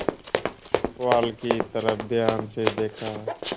पुआल की तरफ ध्यान से देखा